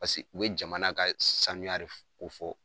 Paseke u ye jamana ka saniya de ko fɔ